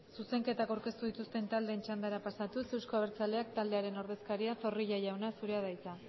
zuzenketak aurkeztu dituzten taldeen txandara pasatuz euzko abertzaleak taldearen ordezkaria zorrilla jauna zurea da hitza